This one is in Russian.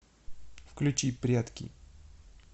включи прятки